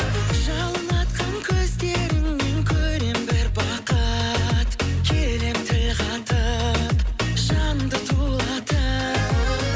жалын атқан көздеріңнен көрем бір бақыт келем тіл қатып жанымды тулатып